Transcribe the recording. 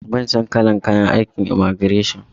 Ban son kalar kayan aikin en imagireshin.